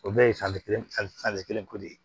O bɛɛ ye kelen ko de ye